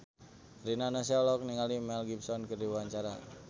Rina Nose olohok ningali Mel Gibson keur diwawancara